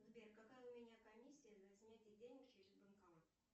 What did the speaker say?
сбер какая у меня комиссия на снятие денег через банкомат